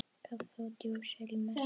Kaffi og djús eftir messu.